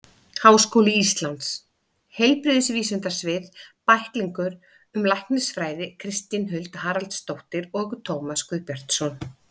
Háskóli Íslands: Heilbrigðisvísindasvið- Bæklingur um læknisfræði Kristín Huld Haraldsdóttir og Tómas Guðbjartsson.